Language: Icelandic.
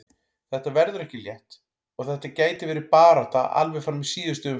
Þetta verður ekki létt og þetta gæti verið barátta alveg fram í síðustu umferð.